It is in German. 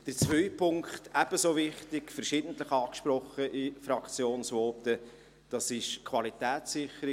Der zweite Punkt ist ebenso wichtig und wurde in Fraktionsvoten verschiedentlich angesprochen, nämlich die Qualitätssicherung.